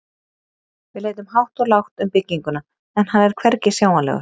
Við leitum hátt og lágt um bygginguna, en hann er hvergi sjáanlegur.